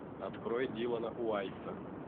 открой дилана уайсса